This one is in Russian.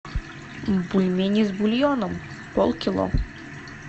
бульмени с бульоном полкило